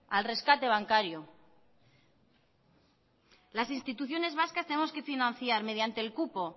al rescate bancario las instituciones vascas tenemos que financiar mediante el cupo